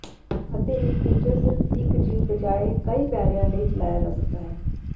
ਅਤੇ ਇੱਕ ਫੀਚਰ ਸਿਰਫ਼ ਇਕ ਦੀ ਬਜਾਏ ਕਈ ਪੈਰਿਆਂ ਲਈ ਚਲਾਇਆ ਜਾ ਸਕਦਾ ਹੈ